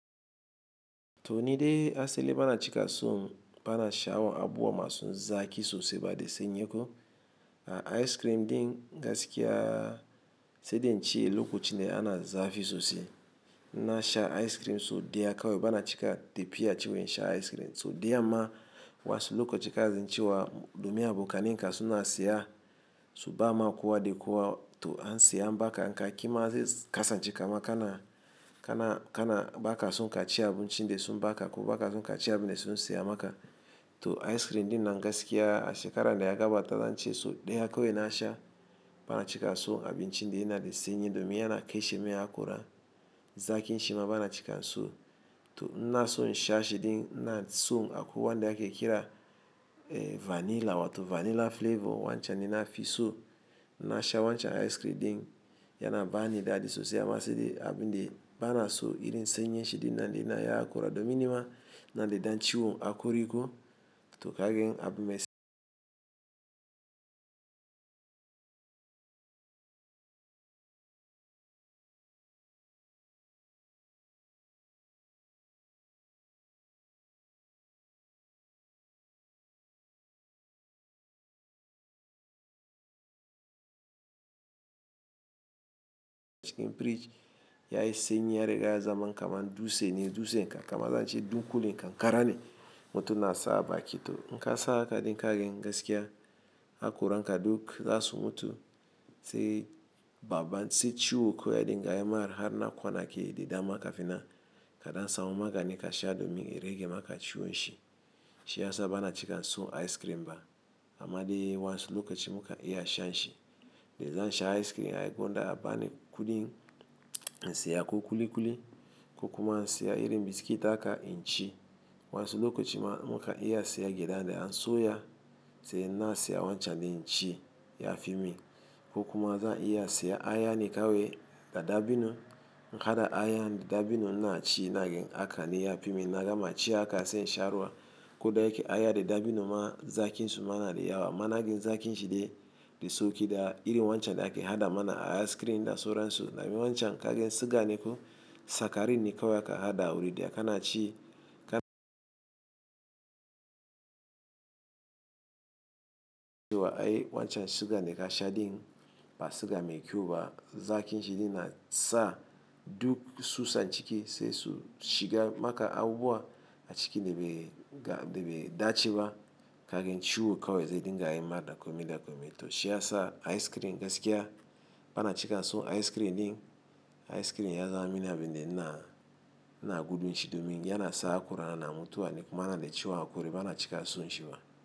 To ni de asali bana chika son bana sha'awon abubuwa masu zaƙi sosai ba de sennyeku. A ice cream din gaskiya sai dai ince lokacin da ana zafi sosai. Na sha ice cream so daya kawai bana cika tafiya ciwen sha ice cream. So dayan ma wa'yansu lokacin kazin ciwa domin abokanen ka suna siya su ba ma kowa da kowa to an siya an baka inka ƙima zai kasan ce kamar kana, kana, kana ba ka son ka ci abunci da sun ba ka ko ba ka son ka ci abun da sun siya maka. To ice cream din nan gaskiya shekara daya gabata zan ci so daya kawai na sha bana chika so abun ci de yana de senyi domin yana kaishe me ya kora zaƙin shima bana chika nso. To in inaso insha shi din ina son akwai wande ake kira vanilla wato vanilla flavor wancan ne na fi so na sha wancan ice cream din yana ba ni daɗi sosai amma sai de abun de bana so irin senyin shi din na de na ya kora domin nima na de dan ciwo hakori ko to kagen abin mas- cikin firij yayi senyi har ya zaman kamar dutse ne dutsen kam kam azance dunƙulen ƙanƙara ne mutum na sa a baki to. In kasa haka din kagen gaskiya hakoranka duk zasu mutu sai baban sai ciwo kawai dinga yi mar har na kwana ke de dama kafina ka dan samu magani kasha domin ya rage maka ciwon shi. Shi ya sa bana chika son ice cream ba amma de wa'yansu lokacin muka iya shan shi. Da zan sha ice cream ai gonda ya bani kudin insiya ko kulikuli ko kuma insiya irin biskit haka in ci wansu lokacin muka iya siya gyaɗa in an soya sai na siya wancan din ci ya fi mi ko kuma zan iya siya aya ne kawai da dabino. In hada aya da dabino na ci nagen haka ne ya fi mi na gama ci haka sai insha ruwa ko dai akai aya da dabino ma zakin su ma na da yawa. Ma na gun zakin shi dai da sauki da irin wancan da ake hada mana a ice cream da sauran su. Domin wancan kagen sugar ne ko sakarin ne kawai aka hada wurin de aka na ci ka- ciwa ai wancan sugar daka sha din ba suga mai kyau ba. Zakin shi din na sa duk susan chiki sai su shiga maka abuwa a ciki de bai ga de bai dace ba kagen ciwo kawai sai din ga yima da komi da komi. To shi ya sa ice cream gaskiya bana chika nso ice cream din. Ice cream ya zama mina abin de ina, ina gudun shi domin yana sa hakora na na mutuwa ne kuma ina de ciwan hakori bana chika son shi ma.